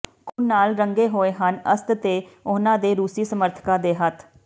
ਖ਼ੂਨ ਨਾਲ ਰੰਗੇ ਹੋਏ ਹਨ ਅਸਦ ਤੇ ਉਨ੍ਹਾਂ ਦੇ ਰੂਸੀ ਸਮਰਥਕਾਂ ਦੇ ਹੱਥ